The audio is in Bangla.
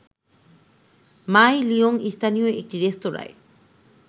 মাই লিয়ং স্থানীয় একটি রেস্তোরাঁয়